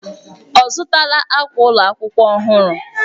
Ọ zụtala akwa ụlọ akwụkwọ ọhụrụ?